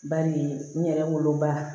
Bari n yɛrɛ woloba